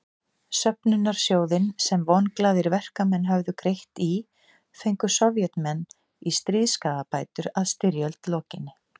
Söfnunarsjóðinn sem vonglaðir verkamenn höfðu greitt í fengu Sovétmenn í stríðsskaðabætur að styrjöld lokinni.